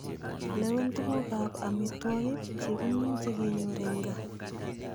Lewen tuguk ab amitwogik chekimuche kenyor en gaa.